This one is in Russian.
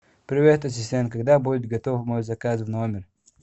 привет ассистент когда будет готов мой заказ в номер